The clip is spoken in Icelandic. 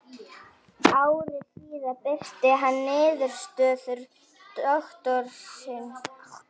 Ári síðar birti hann niðurstöður doktorsritgerðarinnar í ýtarlegri tímaritsgrein.